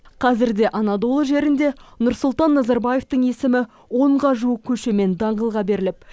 қазірде анадолы жерінде нұрсұлтан назарбаевтың есімі онға жуық көше мен даңғылға беріліп